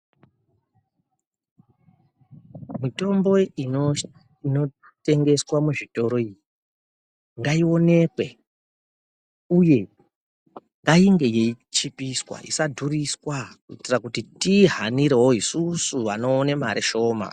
Mitombo inotengeswa muzvitoro iyi ngaionekwe uye ngainge yeichipiswa isadhuriswa kuitira kuti tiihanirewo isusu vanoona mare shoma.